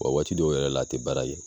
Wa waati dɔw yɛrɛ la a tɛ baara kɛ.